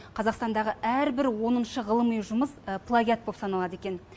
қазақстандағы әрбір оныншы ғылыми жұмыс плагиат боп саналады екен